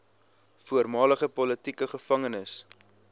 voormalige politieke gevangenes